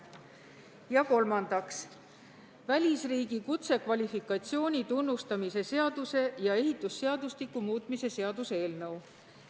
Ja kolmandaks, välisriigi kutsekvalifikatsiooni tunnustamise seaduse ja ehitusseadustiku muutmise seaduse eelnõu.